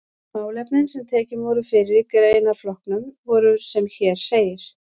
Málefnin sem tekin voru fyrir í greinaflokkunum voru sem hér segir